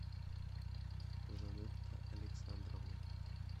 жанетта александровна